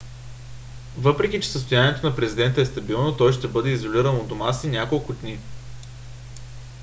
въпреки че състоянието на президента е стабилно той ще бъде изолиран у дома си няколко дни